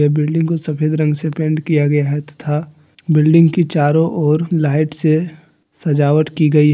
building को सफेद रंग से पेंट किया गया है तथा बिल्डिंग की चारों ओर लाइट से सजावट की गई--